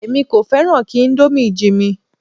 Èmi kò fẹ́ràn kí íńdómì jinmi.